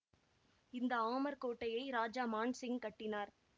இந்த ஆமர் கோட்டையை ராஜா மான் சிங் கட்டினார்